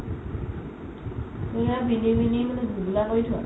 সেয়া পিন্ধি পিন্ধি পিনে কৰি থোৱা